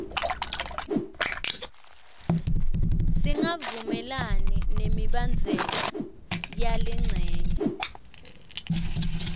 singavumelani nemibandzela yalencenye